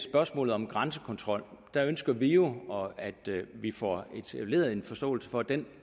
spørgsmålet om grænsekontrol ønsker vi jo at vi får etableret en forståelse for at den